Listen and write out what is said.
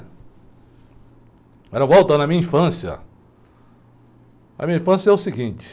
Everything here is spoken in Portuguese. Agora, voltando à minha infância, a minha infância é o seguinte.